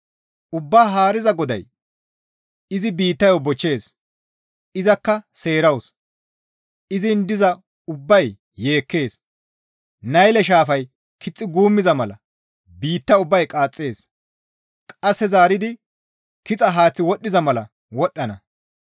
Ubbaa Haariza GODAY izi biittayo bochchees; izakka seerawus; izin diza ubbay yeekkees; Nayle shaafay kixxi guummiza mala biitta ubbay qaaxxees; qasse zaaridi kixa haaththi wodhdhiza mala wodhdhana.